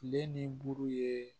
Kile ni buru ye